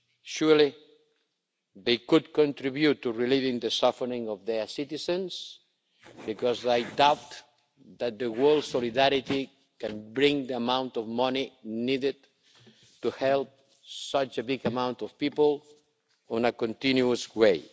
Surely those could contribute to relieving the suffering of their citizens, because I doubt that the world's solidarity can bring the amount of money needed to help such a big amount of people on a continuous way.